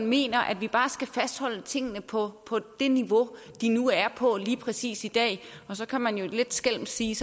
mener at vi bare skal fastholde tingene på det niveau de nu er på lige præcis i dag og så kan man jo lidt skælmsk sige